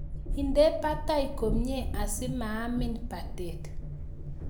Ide batay komie asimaamin batet.